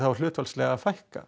hlutfallslega að fækka